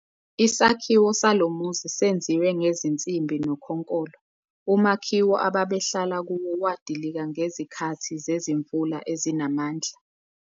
Isakhiwo salo muzi senziwe ngezinsimbi nokhonkolo. umakhiwo ababehlala kuwo wadilika ngezikhathi zezimvula ezinamandla